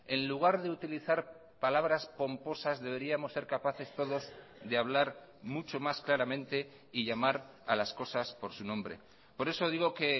en lugar de utilizar palabras pomposas deberíamos ser capaces todos de hablar mucho más claramente y llamar a las cosas porsu nombre por eso digo que